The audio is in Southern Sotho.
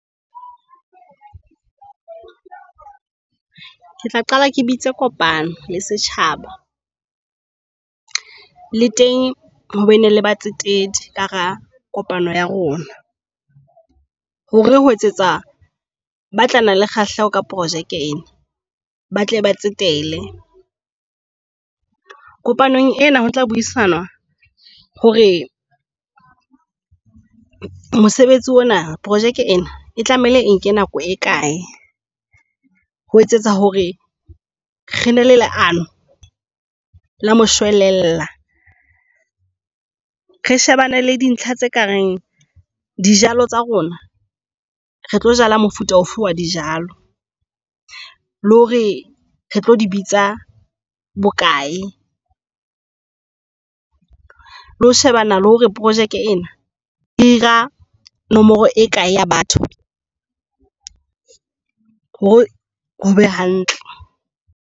Ke tla qala ke bitse kopano le setjhaba, le teng hobene le batsetedi ka hara kopano ya rona. Hore ho etsetsa ba tla nna le kgahleho ka projeke ena ba tle ba tsetele. Kopanong ena ho tla buisana hore mosebetsi ona projeke ena e tlamehile e nke nako e kae ho etsetsa hore re be le leano la moshwelella. Re shebane le dintlha tse kareng dijalo tsa rona. Hore re tlo jala mofuta ofe wa dijalo le hore re tlo di bitsa bokae le ho shebana le hore projeke ena eja nomoro e kae ya batho hore hobe hantle.